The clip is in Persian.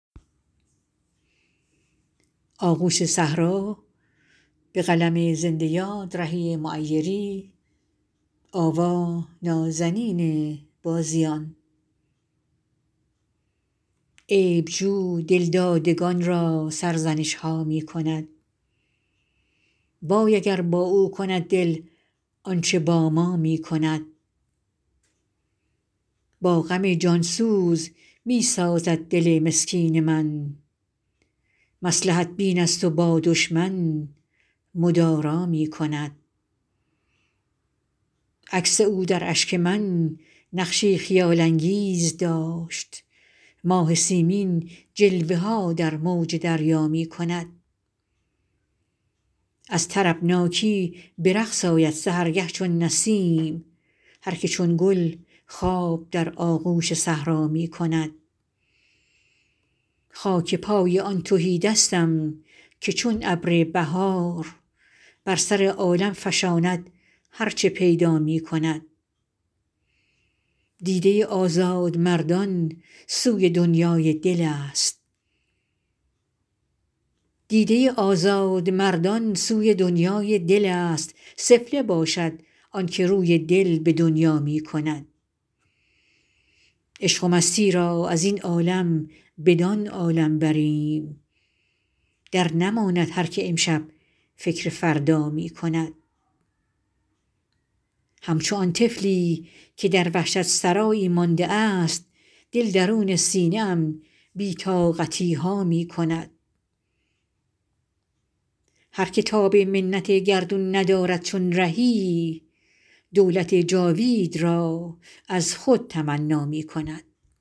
عیب جو دلدادگان را سرزنش ها می کند وای اگر با او کند دل آنچه با ما می کند با غم جان سوز می سازد دل مسکین من مصلحت بین است و با دشمن مدارا می کند عکس او در اشک من نقشی خیال انگیز داشت ماه سیمین جلوه ها در موج دریا می کند از طربناکی به رقص آید سحرگه چون نسیم هرکه چون گل خواب در آغوش صحرا می کند خاک پای آن تهیدستم که چون ابر بهار بر سر عالم فشاند هرچه پیدا می کند دیده آزادمردان سوی دنیای دل است سفله باشد آنکه روی دل به دنیا می کند عشق و مستی را از این عالم بدان عالم بریم درنماند هرکه امشب فکر فردا می کند همچنان طفلی که در وحشت سرایی مانده است دل درون سینه ام بی طاقتی ها می کند هرکه تاب منت گردون ندارد چون رهی دولت جاوید را از خود تمنا می کند